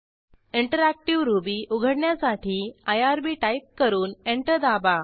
interactive Ruby उघडण्यासाठी IRB type करून enter दाबा